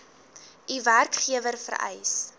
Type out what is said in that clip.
u werkgewer vereis